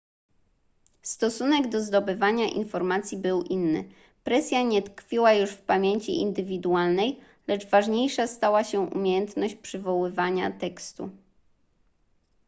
stosunek do zdobywania informacji był inny presja nie tkwiła już w pamięci indywidualnej lecz ważniejsza stała się umiejętność przywoływania tekstu